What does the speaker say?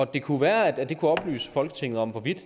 det kunne være at det kunne oplyse folketinget om hvorvidt